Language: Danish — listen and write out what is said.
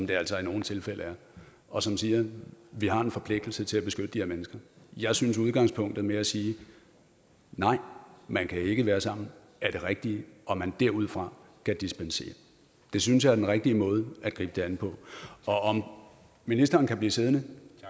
det altså i nogle tilfælde er og som siger at vi har en forpligtelse til at beskytte de her mennesker jeg synes at udgangspunktet med at sige nej man kan ikke være sammen er det rigtige og at man derudfra kan dispensere det synes jeg er den rigtige måde at gribe det an på og om ministeren kan blive siddende